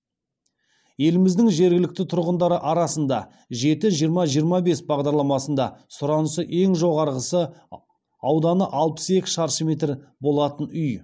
еліміздің жергілікті тұрғындары арасында жеті жиырма жиырма бес бағдарламасында сұранысы ең жоғарғысы ауданы алпыс екі шаршы метр болатын үй